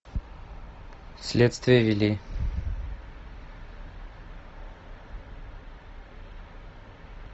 следствие вели